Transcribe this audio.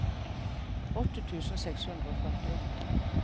åtte tusen seks hundre og førtiåtte